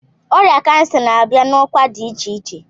Ọrịa cancer na-abịa na ọkwa dị iche iche.